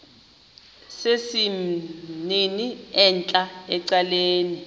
sesimnini entla ecaleni